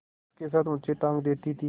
बाँस के साथ ऊँचे टाँग देती थी